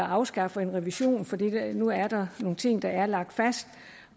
afskaffer en revision fordi der nu er nogle ting der er lagt fast